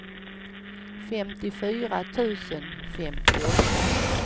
femtiofyra tusen femtioåtta